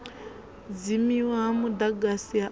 dzimiwa ha mudagasi ha u